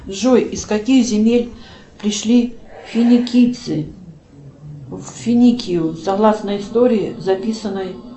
джой из каких земель пришли финикийцы в финикию согласно истории записанной